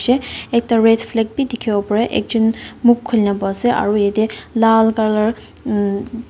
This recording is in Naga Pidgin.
ekta red flag beh tekibo pare ekchon mukbkolina bui ase aro yati lal colour ummm.